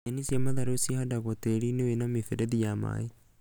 Nyeni cia matharũ cihandagwo tĩĩri-inĩ wĩna mĩberethi ya maĩ